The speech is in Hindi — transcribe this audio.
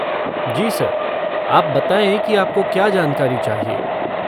जी सर! आप बताएँ कि आप को क्या जानकारी चाहिए?